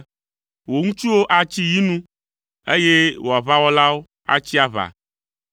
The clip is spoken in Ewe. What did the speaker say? Wò ŋutsuwo atsi yi nu, eye wò aʋawɔlawo atsi aʋa.